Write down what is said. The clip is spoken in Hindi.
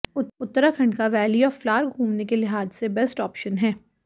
उत्तराखंड का वैली ऑफ फ्लावर घूमने के लिहाज से बेस्ट ऑप्शन है